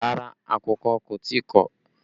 Rárá, àkùkọ kò tí ì kọ̀